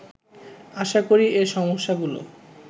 আশা করি এ সমস্যাগুলো